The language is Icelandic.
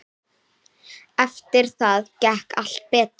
Eftir það gekk allt betur.